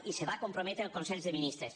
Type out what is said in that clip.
i se va comprometre al consell de ministres